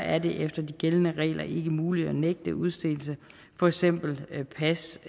er det efter de gældende regler ikke muligt at nægte udstedelse for eksempel af pas